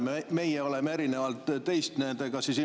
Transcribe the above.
Meie oleme ilmselt erinevalt teist nendega kohtunud.